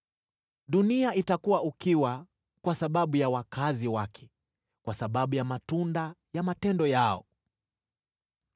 Dunia itakuwa ukiwa kwa sababu ya wakazi wake, kwa sababu ya matunda ya matendo yao.